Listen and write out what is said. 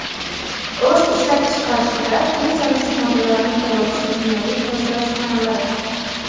o‘z ishlab chiqarishida tez yonuvchi moddalarni qo‘llovchi kimyoviy tozalash xonalari;.